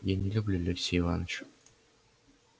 я не люблю алексея иваныча